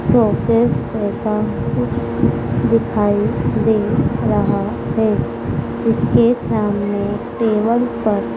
प्रोफे sofa कुछ दिखाई दे रहा है जिसके सामने टेबल पर--